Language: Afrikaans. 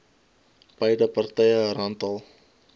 beide partye randall